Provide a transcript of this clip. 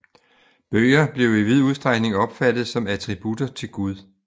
Bøger blev i vid udstrækning opfattet som attributter til Gud